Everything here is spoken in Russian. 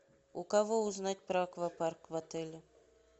у кого узнать про аквапарк в отеле